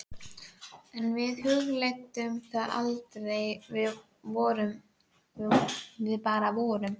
En við hugleiddum það aldrei, við bara vorum.